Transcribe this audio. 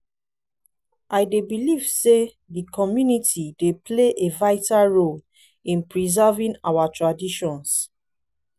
i dey believe say di community dey play a vital role in preserving our traditions.